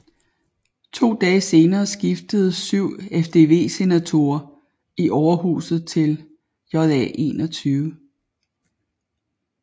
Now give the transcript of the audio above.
To dage senere skiftede 7 FvD senatorer i overhuset til JA21